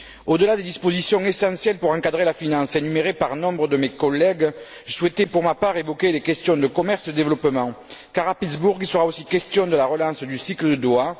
Au delà des dispositions essentielles pour encadrer la finance énumérées par nombre de mes collègues, je souhaitais pour ma part évoquer les questions du commerce et du développement, car à Pittsburgh, il sera aussi question de la relance du cycle de Doha.